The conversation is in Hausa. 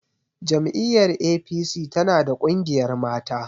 Jam'iyyar APC tana da ƙungiyar mata.